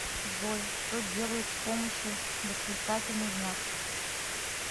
джой что делают с помощью восклицательный знак